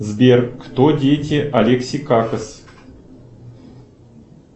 сбер кто дети алекси какас